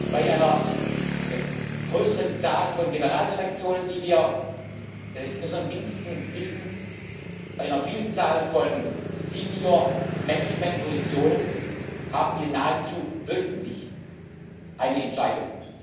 Bei einer größeren Zahl von Generaldirektionen, die wir in unseren Diensten wissen, bei einer Vielzahl von Senior Management Positionen haben wir nahezu wöchentlich eine Entscheidung.